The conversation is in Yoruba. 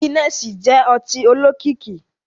Gínẹ̀ẹ̀sí jẹ́ ọtí olókìkí